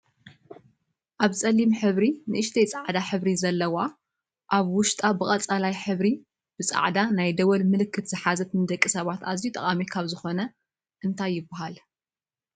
ኣብ ፀሊም ሕብሪ ንእሽተይ ፃዕዳ ሕብሪ ዘለዎ ኣብ ውሽጣ ብቀፅላዋይ ሕብሪ ብፃዕዳ ናይ ደወል ምልክት ዝሓዘት ንደቂ ሰባት ኣዝዩ ጠቃሚ ካብ ዝኮኑ እንታይ ይብሃል?